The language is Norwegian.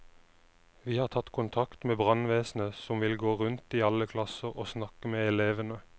Vi har tatt kontakt med brannvesenet som vil gå rundt i alle klasser og snakke med elevene.